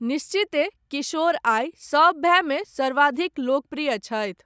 निश्चियतः, किशोर आइ, सब भायमे सर्वाधिक लोकप्रिय छथि।